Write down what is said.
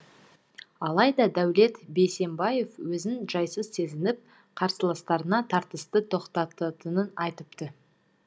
алайда дәулет бейсембаев өзін жайсыз сезініп қарсыластарына тартысты тоқтататынын айтыпты